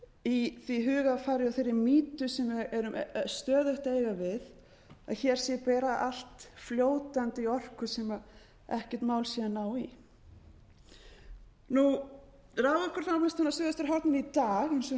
í því hugarfari og þeirri mýtu sem við erum stöðugt að eiga við að hér sé bara allt fljótandi í orku sem ekkert mál sé að ná í raforkuframleiðslan á suðvesturhorninu í dag eins og hún